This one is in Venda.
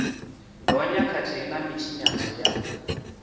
gonya khathihi na mitshinyadzo ya